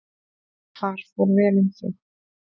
Þar fór vel um þau.